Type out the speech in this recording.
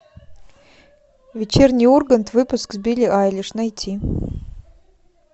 вечерний ургант выпуск с билли айлиш найти